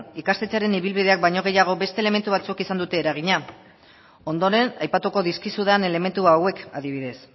ikastetxearen ibilbideak baino gehiago beste elementu batzuk izan dute eragina ondoren aipatuko dizkizudan elementu hauek adibidez